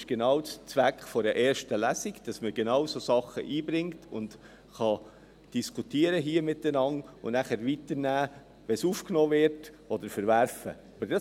Dies ist genau der Zweck der ersten Lesung, dass man genau solche Dinge einbringt, diese hier miteinander diskutieren, und wenn sie aufgenommen werden, weiter mitnehmen oder sie verwerfen kann.